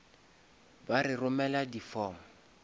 ba re romele di form